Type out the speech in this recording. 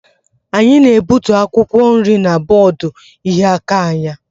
Anyị na-egbutu akwụkwọ nri na bọọdụ ịhịa aka anyị.